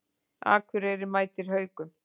Akureyri mætir Haukum